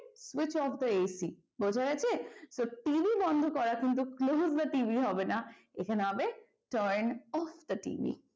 switch of the AC বোঝা গেছে? তো TV বন্ধ করা কিন্তু close the TV হবে না এখানে হবে turn off the TV